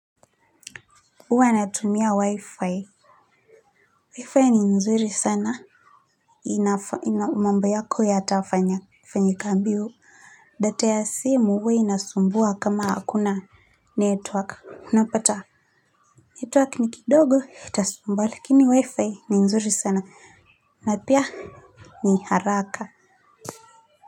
Huwa natumia wi-fi, Wi-fi ni nzuri sana inafanya mambo yako yatafanya fanyika mbio data ya simu huwa inasumbua kama hakuna network unapata network ni kidogo itasumbua lakini wi-fi ni nzuri sana. Napia ni haraka aaaaaa aaa.